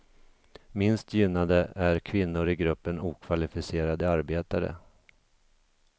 Minst gynnade är kvinnor i gruppen okvalificerade arbetare.